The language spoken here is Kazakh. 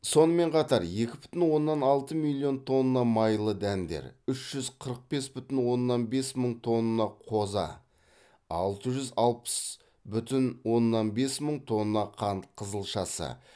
сонымен қатар екі бүтін оннан алты миллион тонна майлы дәндер үш жүз қырық бес бүтін оннан бес мың тонна қоза алты жүз алпыс бүтін оннан бес мың тонна қант қызылшасы